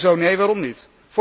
Zo nee, waarom niet?